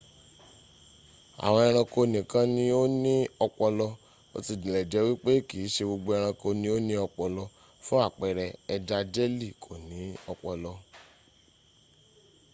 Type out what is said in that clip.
awon eranko nikan ni o ni opolo bo tile je wipe kiise gbogbo eranko ni o ni opolo; fun apere eja jelly ko ni opolo